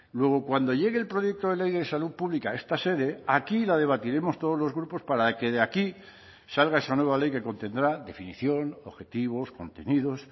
luego cuando llegue el proyecto de ley de salud pública a esta sede aquí la debatiremos todos los grupos para que de aquí salga esa nueva ley que contendrá definición objetivos contenidos